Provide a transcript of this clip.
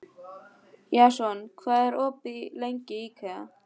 Jason, hvað er opið lengi í IKEA?